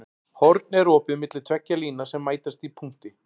Horn er opið milli tveggja lína sem mætast í punkti.